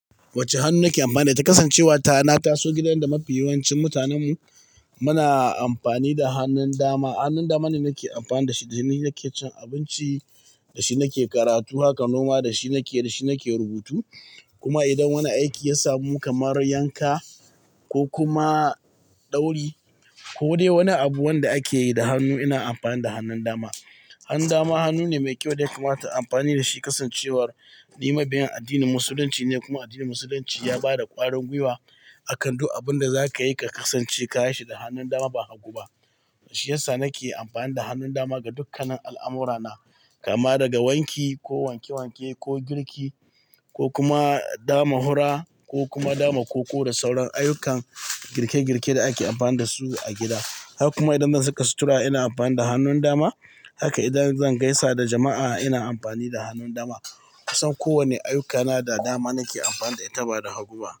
Wacce hannu nake amfani da ita kasancewa ta na taso gidan da mafi yawancin mutanen mu muna amfani da hannun dama. Hannun dama ne nake amfani da shi, da shi nake cin abinci, da shi nake karatu, haka noma da shi nake, da shi nake rubutu. Kuma idan wani aiki ya samu kamar yanka ko kuma dauri ko dai wani abu wanda ake yi da hannu, ina amfani da hannun dama. Hannu dama hannu ne mai kyau da yakamata na amfani da shi kasancewar ni mabiyin addinin Musulunci ne kuma addinin Musulunci ya ba da ƙwarin gwiwa akan duk abun da za ka yi ka kasance ka yi shi da hannun dama ba hagu ba. Shi yasa nake amfani da hannun dama ga dukkanin al'amurana kama daga wanki ko wanke wanke ko girki ko kuma dama hura ko kuma dama koko da sauran ayyukan girke girke da ake amfani da su a gida. Haka kuma idan zan saka sutura ina amfani da hannun dama. Haka idan zan gaisa da jama'a ina amfani da hannun dama. Kusan kowane ayyukana da dama nake amfani da ita ba da hagu ba.